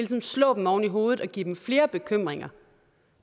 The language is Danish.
tiden slår dem oven i hovedet og giver dem flere bekymringer